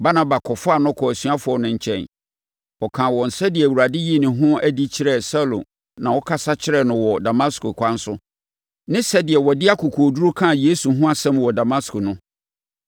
Barnaba kɔfaa no kɔɔ asuafoɔ no nkyɛn. Ɔkaa wɔn sɛdeɛ Awurade yii ne ho adi kyerɛɛ Saulo na ɔkasa kyerɛɛ no wɔ Damasko ɛkwan so no ne sɛdeɛ ɔde akokoɔduru kaa Yesu ho asɛm wɔ Damasko no.